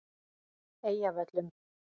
Eyjavöllum